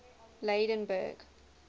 lydenburg